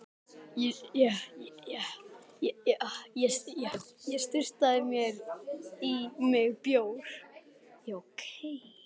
Sett í skip og flutt til fangavistar í Englandi!